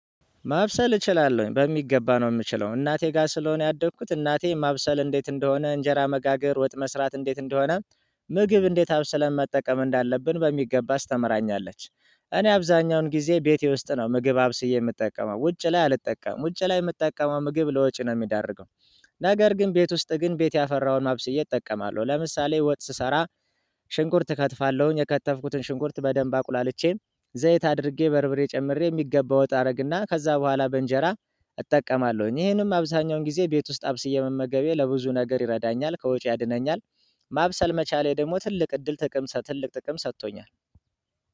ማብሰል እችላለሁ በሚገባ ነው የምችለው እናቴ ጋር ስለሆነ ያደግኩት እናቴ ማብሰል እንዴት እንደሆነ እንጀራ መጋገር ወጥ መስራት እንዴት እንደሆነ ምግብ እንዴት አብስለን መጠቀም እንዳለብን በሚገባ አስተምራኛለች። እኔ አብዛኛውን ጊዜ ቤቴ ውስጥ ነው ምግብ አብስዬ የምጠቀመው ውጭ ላይ አልጠቀምም ውጭ ላይ የምጠቀመው ምግብ ለወጪ ነው የሚደረገው። ነገር ግን ቤት ውስጥ ግን ቤት ያፈራውን አብሰዬ እጠቀማለሁ ለምሳሌ ወጥ ስሰራ። ሽንኩርት እከትፋለሁኝ የከተፍኩትን ሽንኩርት በደንብ አቁላልቼ ዘይት አድርጌ በርብሬ ጨምሬ የሚገባ ወጣ አደርግና ከዛ በኋላ በእንጀራ እጠቀማለሁኝ ይሄንም አብዛኛውን ጊዜ ቤት ውስጥ አብስዬ መመገቤ ለብዙ ነገር ይረዳኛል ከወጪ ያድነኛል። ማብሰል መቻሌ ደግሞ ትልቅ እድል ጥቀምሰህ ትልቅ ጥቅም ሰጥቶኛል።